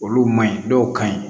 Olu ma ɲi dɔw ka ɲi